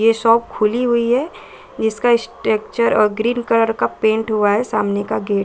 ये शॉप खुली हुई है। इसका स्टक्चर अ ग्रीन कलर का पेंट हुआ है। सामने का गेट --